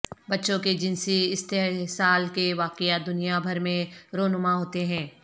بچوں کے جنسی استحصال کے واقعات دنیا بھر میں رونما ہوتے ہیں